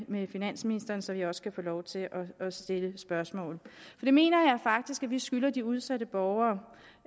finansministeren så vi også kan få lov til at stille spørgsmål det mener jeg faktisk at vi skylder de udsatte borgere